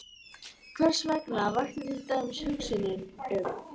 Hversvegna vakti til dæmis hugsunin um